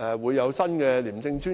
時會有新的廉政專員。